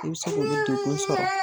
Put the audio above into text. I bɛ se k'olu degu sɔrɔ